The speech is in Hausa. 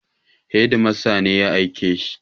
Hedimasta ne ya aike shi.